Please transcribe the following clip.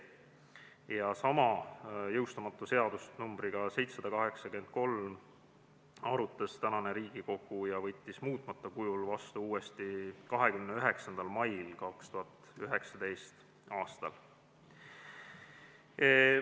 Sedasama jõustumata seadust numbriga 783 arutas praegune Riigikogu ja võttis selle muutmata kujul vastu uuesti 29. mail 2019 aastal.